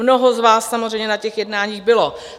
Mnoho z vás samozřejmě na těch jednání bylo.